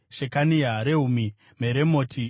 Shekania, Rehumi, Meremoti,